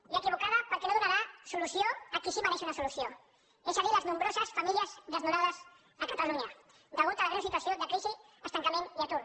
i equivocada perquè no donarà solució a qui sí que es mereix una solució és a dir les nombroses famílies desnonades a catalunya a causa de la greu situació de crisi estancament i atur